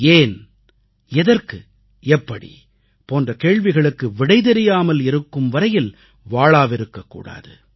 ஏன் எதற்கு எப்படி போன்ற கேள்விகளுக்கு விடை தெரியாமல் இருக்கும் வரையில் வாழாவிருக்கக் கூடாது